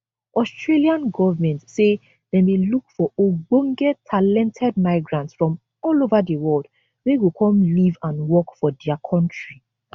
australian government say dem dey look for ogbonge talented migrants from all ova di world wey go come live and work for dia kontri